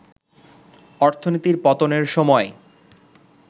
অর্থনীতির পতনের সময়